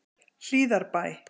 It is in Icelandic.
Hlíðarbæ